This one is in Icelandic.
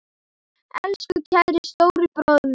Elsku kæri stóri bróðir minn.